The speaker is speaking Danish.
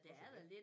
Også dét